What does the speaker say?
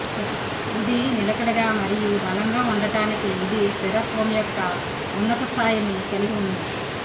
ఇది నిలకడగా మరియు బలంగా ఉండటానికి ఇది స్థిరత్వం యొక్క ఉన్నత స్థాయిని కలిగి ఉంది